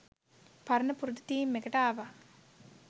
පරණ පුරුදු තීම් එකට ආවා.